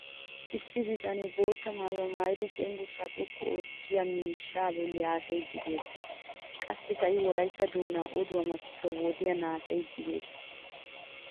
Iissi bitanee bootta maayuwa maayidi cenggurssaa xoqqu oottiyaa miishshaa bolli haasayiiddi beettes. Qassikka I wolaytta doonaa oduwa makkisuwa wodiyan haasayiiddi beettes.